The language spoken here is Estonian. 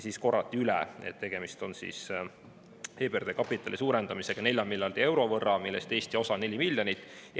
Siis korrati üle, et tegemist on EBRD kapitali suurendamisega 4 miljardi euro võrra, millest Eesti osa on 4 miljonit eurot.